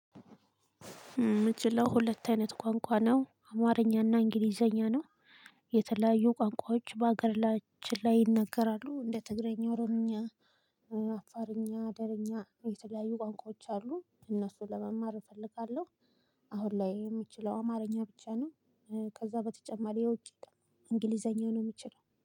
እምችለው ሁለት አይነት ቋንቋ ነው አማርኛና እንግሊዘኛ ነው። የተለያዩ ቋንቋዎች በሀገራችን ላይ ይነገራሉ እንደ ትግራይኛ ኦሮሚኛ አፋርኛ አደረኛ የተለያዩ ቋንቋዎች አሉ እነሱን ለመማር እፈልጋለሁ። አሁን ላይ የምችለው አማርኛ ብቻ ነው። ከዛ በተጨማሪ የውጭ እንግሊዘኛ ነው እምችለው